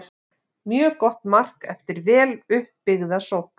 Mjög gott mark eftir vel upp byggða sókn.